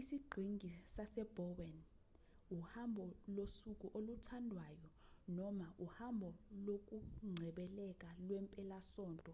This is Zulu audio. isiqhingi sase-bowen uhambo losuku oluthandwayo noma uhambo lokungcebeleka lwempelasonto